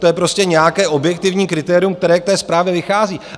To je prostě nějaké objektivní kritérium, které k té zprávě vychází.